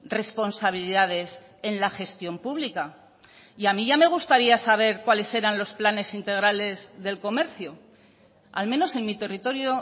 responsabilidades en la gestión pública y a mí ya me gustaría saber cuáles eran los planes integrales del comercio al menos en mi territorio